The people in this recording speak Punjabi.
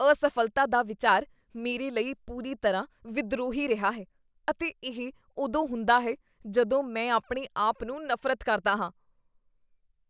ਅਸਫ਼ਲਤਾ ਦਾ ਵਿਚਾਰ ਮੇਰੇ ਲਈ ਪੂਰੀ ਤਰ੍ਹਾਂ ਵਿਦਰੋਹੀ ਰਿਹਾ ਹੈ ਅਤੇ ਇਹ ਉਦੋਂ ਹੁੰਦਾ ਹੈ ਜਦੋਂ ਮੈਂ ਆਪਣੇ ਆਪ ਨੂੰ ਨਫ਼ਰਤ ਕਰਦਾ ਹਾਂ।